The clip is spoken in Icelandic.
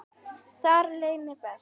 Þar leið mér best.